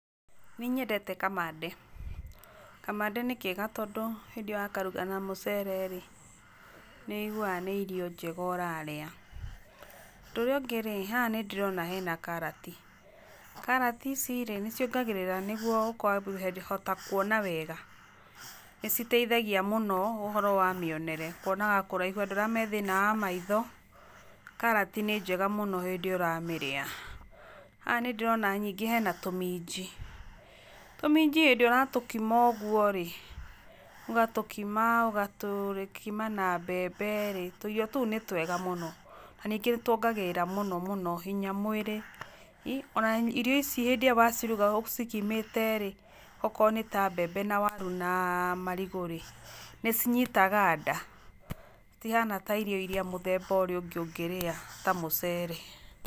Nĩnyendete kamande, kamande nĩ kega mũno tondũ hĩndĩ ĩyo wakaruga na mũcere rĩ, nĩ ũiguaga nĩ irio njega ũrarĩa. Ũndũ ũrĩa ũngĩ rĩ, haha nĩ ndĩrona hena karati. Karati ici rĩ nĩ ciongagĩrĩra nĩgetha ũkahota kuona wega. Nĩ citeithagia mũno ũhoro wa mĩonere, kuonaga kũraihu, andũ arĩa me thĩna wa maitho, karati nĩ njega mũno hĩndĩ ĩrĩa ũramĩrĩa. Haha nĩ ndĩrona ningĩ hena tũminji, tũminji hĩndĩ ĩrĩa ũratĩkima ũguo rĩ, ũgatũkima ũgatũkima na mbembe rĩ, tũirio tũu nĩ twega mũno. Na ningĩ nĩ tuongagĩrĩra mũno mũno hinya mwĩrĩ. Ona irio ici rĩrĩa waciruga ũcikimĩte rĩ, okorwo nĩ ta mbembe na waru na marigũ rĩ, nĩ cinyitaga nda. Itihana ta irio iria mũthemba ũrĩa ũngĩ ũngĩrĩa ta mũcere.